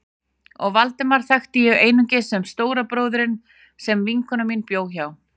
Og Valdemar þekkti ég einungis sem stóra bróðurinn sem vinkona mín bjó hjá.